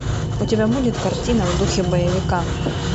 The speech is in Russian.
у тебя будет картина в духе боевика